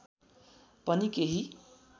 पनि केही